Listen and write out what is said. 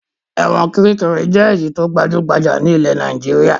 Ẹ̀wọ̀n Kiríkirì jẹ́ èyí tó gbajú-gbajà ní ilẹ̀ Nàìjíríà.